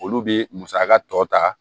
Olu bɛ musaka tɔ ta